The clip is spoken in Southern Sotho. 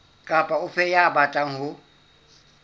kapa ofe ya batlang ho